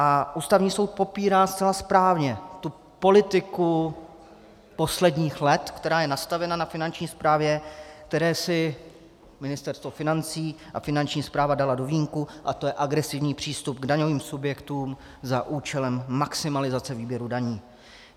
A Ústavní soud popírá zcela správně tu politiku posledních let, která je nastavena na Finanční správě, kterou si Ministerstvo financí a Finanční správa daly do vínku, a to je agresivní přístup k daňovým subjektům za účelem maximalizace výběru daní.